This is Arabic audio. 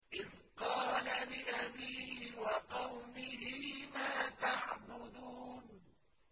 إِذْ قَالَ لِأَبِيهِ وَقَوْمِهِ مَا تَعْبُدُونَ